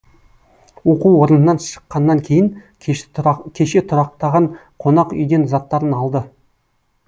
оқу орнынан шыққаннан кейін кеше тұрақтаған қонақ үйден заттарын алды